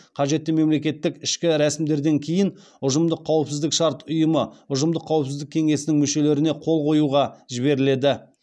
қажетті мемлекеттік ішкі рәсімдерден кейін ұжымдық қауіпсіздік шарт ұйымы ұжымдық қауіпсіздік кеңесінің мүшелеріне қол қоюға жіберіледі